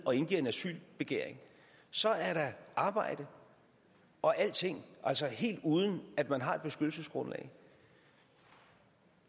og indgiver en asylbegæring så er der arbejde og alting helt uden at man har et beskyttelsesgrundlag